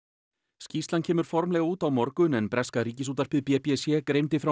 skýrslan kemur formlega út á morgun en breska Ríkisútvarpið b b c greindi frá